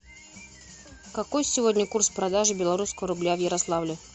какой сегодня курс продажи белорусского рубля в ярославле